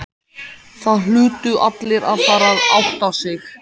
Það hlutu allir að fara að átta sig.